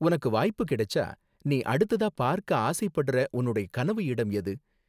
உனக்கு வாய்ப்பு கிடைச்சா நீ அடுத்ததா பார்க்க ஆசைப்படுற உன்னோட கனவு இடம் எது?